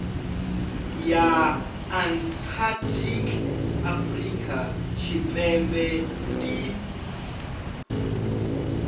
ya antarctic afurika tshipembe ndi